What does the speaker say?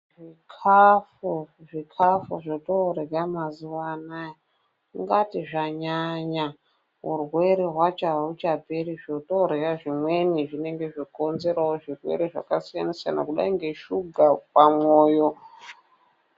Zvikafu zvikafu zvotorya mazuva anaya ungati zvanyanya urwere hwacho hauchaperi. Zvotorya zvimweni zvinenge zvokonzerawo zvirwere zvakasiyana-siyana kudai neshuga, pamoyo.